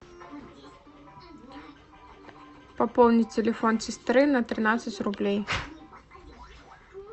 пополнить телефон сестры на тринадцать рублей